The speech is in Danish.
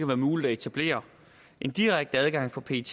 være muligt at etablere en direkte adgang for pet